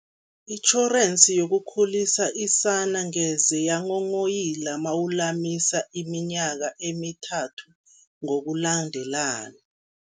Itjhorensi yokukhulisa isana ngeze yanghonghoyila mawulamisa iminyaka emithathu ngokulandelana.